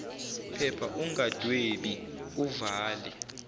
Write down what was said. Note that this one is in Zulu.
phepha ungadwebi uvale